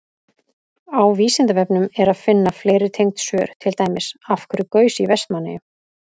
Á Vísindavefnum er að finna fleiri tengd svör, til dæmis: Af hverju gaus í Vestmannaeyjum?